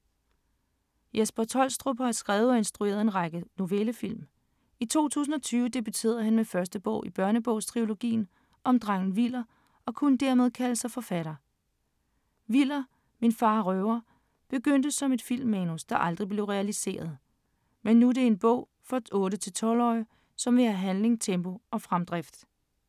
Jesper Troelstrup har skrevet og instrueret en lang række novellefilm. I 2020 debuterede han med første bog i børnebogstrilogien om drengen Viller og kunne dermed kalde sig forfatter. ”Viller - Min far er røver” begyndte som et filmmanus, der aldrig blev realiseret, men nu er det en bog for 8-12-årige, som vil have handling, tempo og fremdrift.